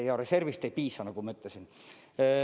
Ja reservist ei piisa, nagu ma ütlesin.